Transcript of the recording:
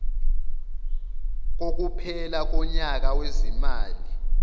kokuphela konyaka wezimali